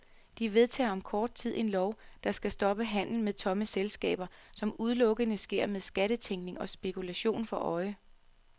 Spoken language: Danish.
De vedtager om kort tid en lov, der skal stoppe handel med tomme selskaber, som udelukkende sker med skattetænkning og spekulation for øje.